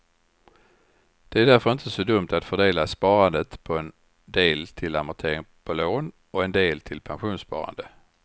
Det är därför inte så dumt att fördela sparandet på en del till amortering på lån och en del till pensionssparande.